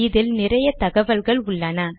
இதில் நிறைய தகவல்கள் உள்ளன